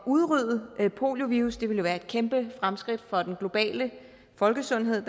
udrydde poliovirus det ville jo være et kæmpe fremskridt for den globale folkesundhed